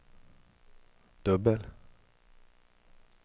dubbel